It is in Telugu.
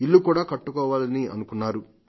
ఇల్లు కూడా కట్టుకోవాలనుకుంటున్నాడు